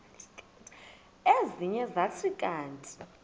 ezinye zathi kanti